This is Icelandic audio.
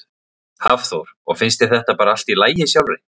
Hafþór: Og finnst þér þetta bara allt í lagi sjálfri?